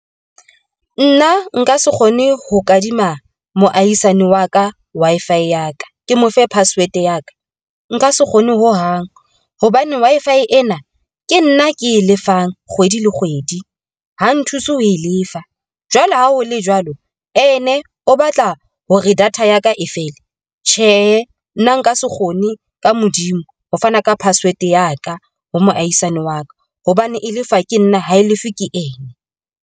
Nna nka se kgone ho kadima moahisani wa ka Wi-Fi ya ka ke mo fe password ya ka nka se kgone ho hang hobane Wi-Fi ena ke nna ke e lefang kgwedi le kgwedi ho nthuse ho e lefa. Jwale ha ho le jwalo, and-e o batla hore data yaka e fele tjhe, nna nka se kgone ka Modimo. Ho fana ka password ya ka ho moahisani wa ka, hobane e lefa ke nna ha e lefe ke ena.